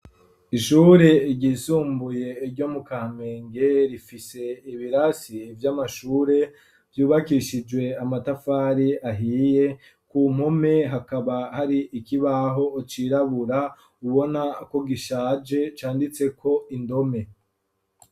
Ishuri ryisumbuye iryo mu kampenge rifise ibirasi vy'amashure vyubakishijwe amatafari ahiye ku mpume hakaba hari ikibaho ucirabura ubona ko gishaje canditseko indome.